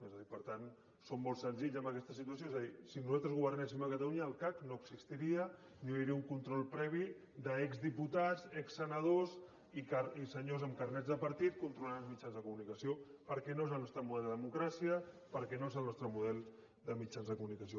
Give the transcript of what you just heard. és a dir per tant som molt senzills en aquesta situació és a dir si nosaltres governéssim a catalunya el cac no existiria no hi hauria un control previ d’exdiputats exsenadors i senyors amb carnets de partit controlant els mitjans de comunicació perquè no és el nostre model de democràcia perquè no és el nostre model de mitjans de comunicació